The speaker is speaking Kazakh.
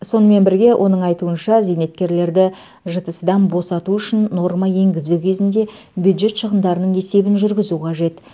сонымен бірге оның айтуынша зейнеткерлерді жтс дан босату үшін норма енгізу кезінде бюджет шығындарының есебін жүргізу қажет